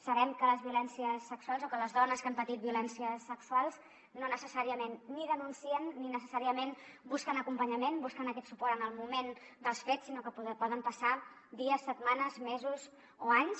sabem que les dones que han patit violències sexuals no necessàriament denuncien ni necessàriament busquen acompanyament busquen aquest suport en el moment dels fets sinó que poden passar dies setmanes mesos o anys